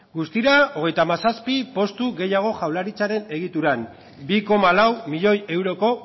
guztira hogeita hamazazpi postu gehiago jaurlaritzaren egituran bi koma lau milioi euroko